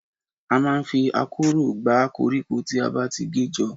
A máa ń fi akọ́rọ́ gbá koríko tí a ti gé jọ.